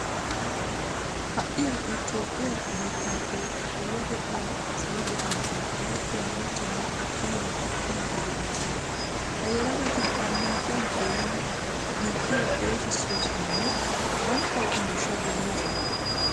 Ha"i ha"i toophphiya biittaappe puulatettan salo gufanttuwan erettiya maccanne attuma naati kiyiiddi de'oosona. Ha yelagati annaaciyan xoonidi biittiyo xeesissoosonanne banttawukka miishshaa demmoosona.